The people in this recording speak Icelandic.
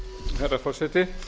herra forseti